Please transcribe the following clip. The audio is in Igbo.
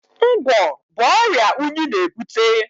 Ngwọ̀ bụ ọrịa unyi na-ebute.